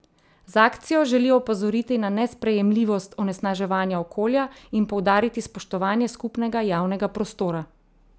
Z akcijo želijo opozoriti na nesprejemljivost onesnaževanja okolja in poudariti spoštovanje skupnega javnega prostora.